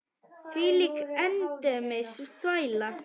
Þvílík endemis þvæla.